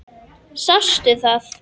Sástu það?